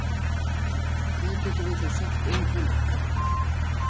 Hvað getum við þá sagt um hann?